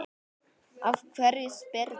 Af hverju spyrðu?